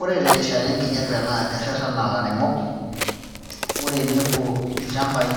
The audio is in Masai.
Ore terishata enkijiape naa kerrerrena ilairemok ore enepuo ilchambai